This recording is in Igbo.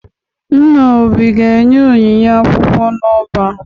Nna Obi ga-enye onyinye akwụkwọ n'ọba?